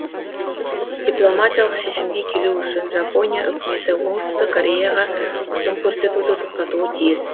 дипломатиялық шешімге келу үшін жапония үкіметі оңтүстік кореяға қысым көрсетуді тоқтатуы тиіс